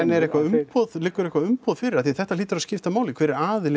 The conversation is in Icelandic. er eitthvað umboð liggur eitthvað umboð fyrir af því að þetta hlýtur að skipta máli hver er aðili